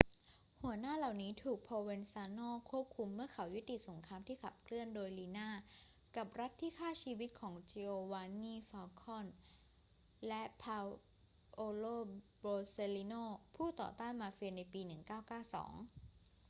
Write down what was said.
หัวหน้าเหล่านี้ถูก provenzano ควบคุมเมื่อเขายุติสงครามที่ขับเคลื่อนโดย riina กับรัฐที่คร่าชีวิตของ giovanni falcone และ paolo borsellino ผู้ต่อต้านมาเฟีย ในปี 1992